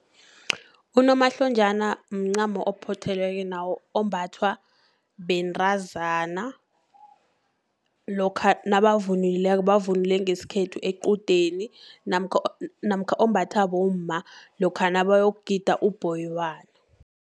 Unomahlonjana mncamo ophothelweko, nawo ombathwa bentazana, lokha nabavunulileko, bavunule ngesikhethu equdeni, namkha ombathwa bomma lokha nabayokugida ubhoyibana.